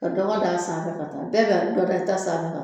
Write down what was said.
Ka dɔgɔ da a sanfɛ ka taa bɛɛ ka dɔ da i ta sanfɛ ka